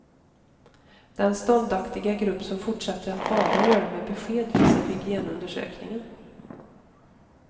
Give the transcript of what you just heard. Den ståndaktiga grupp som fortsätter att bada gör det med besked, visar hygienundersökningen.